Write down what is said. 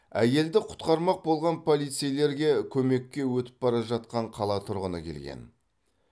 әйелді құтқармақ болған полицейлерге көмекке өтіп бара жатқан қала тұрғыны келген